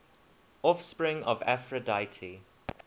offspring of aphrodite